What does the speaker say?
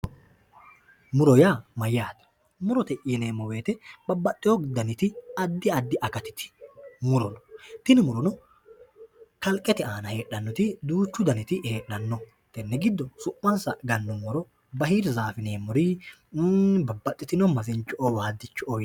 muro yaa mayyaate? murote yineemmo woyte babbaxxewo daniti addi addi akatiti muro, tini murono kalqete aana heedhannoti duuchu daniti heedhanno tenne giddo su'mansa gannummoro bahiirzaafe yineemmori babbaxinoti masincho'o waaddicho'o